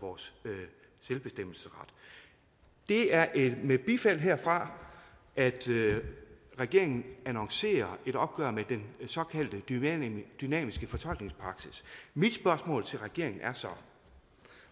vores selvbestemmelsesret det er med bifald herfra at regeringen annoncerer et opgør med den såkaldte dynamiske dynamiske fortolkningspraksis mit spørgsmål til regeringen er så